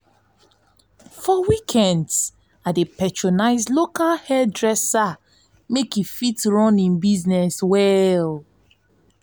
for weekends i dey patronize local hairdresser make e fit run im business well.